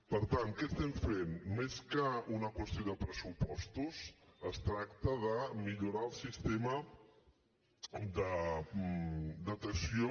per tant què estem fent més que una qüestió de pressupostos es tracta de millorar el sistema de detecció